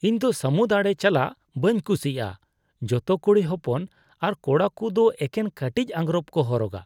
ᱤᱧ ᱫᱚ ᱥᱟᱹᱢᱩᱫ ᱟᱲᱮ ᱪᱟᱞᱟᱜ ᱵᱟᱹᱧ ᱠᱩᱥᱤᱭᱟᱜᱼᱟ ᱾ ᱡᱚᱛᱚ ᱠᱩᱲᱤ ᱦᱚᱯᱚᱱ ᱟᱨ ᱠᱚᱲᱟ ᱠᱩ ᱫᱚ ᱮᱠᱮᱱ ᱠᱟᱹᱴᱤᱡ ᱟᱝᱜᱨᱚᱯ ᱠᱚ ᱦᱚᱨᱚᱜᱼᱟ ᱾